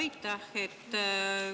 Aitäh!